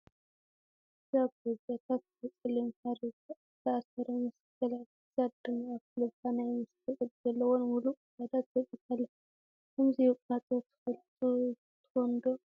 እዛ ኣጎ እዚኣ ኣብ ክሳዳፀሊም ሃሪ ዝተኣሰረ መስከላት ክሳዳ ድማ ኣብ ኣፍ ልባ ናይ መስቀል ቅርፂ ዘለዎን ሙሉእ ክሳዳን ተወቂጣ ኣላ ። ከምዚ ውቃጦ ትፈልጡ ትኮኑ ድ'?